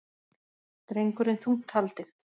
Drengurinn þungt haldinn